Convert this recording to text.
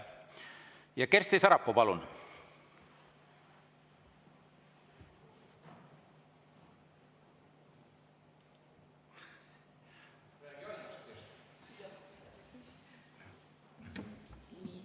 Kersti Sarapuu, palun!